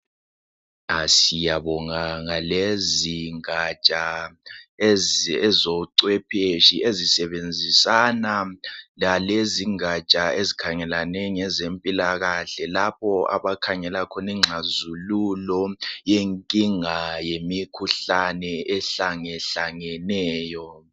Aah siyabonga ngalezingaja, ezocwepheshi. Ezisebenzisana lalezingaja ezikhangelane ngezempilakahle. Lapho abakhangela khona, ingxazululo, yenkinga yemikhuhlane, ehlangehlangeneyo.